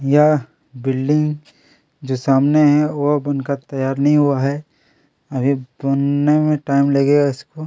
यह बिल्डिंग जो में सामने है वह बन कर तैयार नहीं हुआ है अभी बनने में टाइम लगेगा इसको--